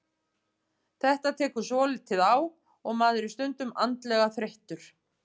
Þetta tekur svolítið á og maður er stundum andlega þreyttur.